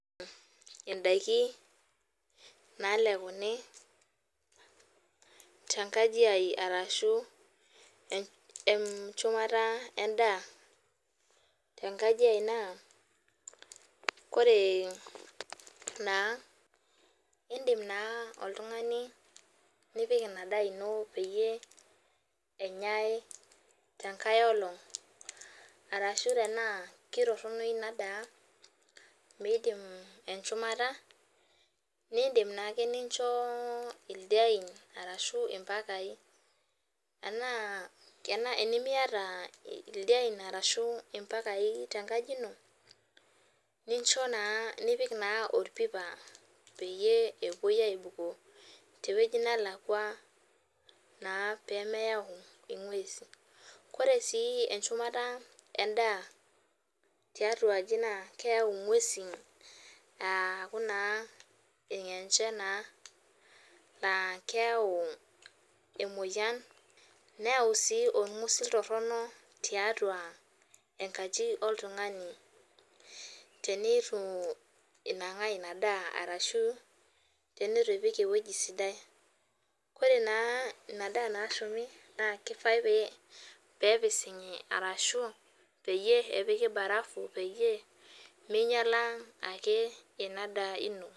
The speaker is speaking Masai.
Indaiki naalekuni tenkaji aji arashu enchumata endaa naa kore naa indim naa oltung'ani nipik ina daa ino peyie enyai tenkai olong', arashu tanaa torono ina daa meidim enchumata indim naake nincho ildien ashu impakai anaa enimiata ildien ashu impakai tenkaji ino, nipik naa olpipa, peyie ewuoi aibukoo tewueji nalakwa naa pemeyau ing'uesi aaku naa ilng'enche naa, laa keyau emoyian neyau sii olg'usil torono tiatua enkaji oltung'ani teneitu inang'aa ina daa ashu eitu ipik ewueji sidai. Kore naa ina daa nashumi naa keifai naa pee epising'i arashu peyie epiki barafu peyie meinyaala ake ia daa ino.